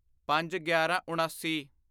ਪੰਜਗਿਆਰਾਂਉਣਾਸੀ